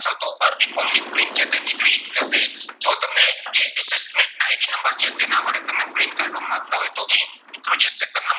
તો અરજી form ની print છે તે નીકળી જશે. જો તમે assessment ID નંબર છે તેના વડે તમે print કાઢવા માંગતા હોય તો અહીં મિત્રો જે second નંબર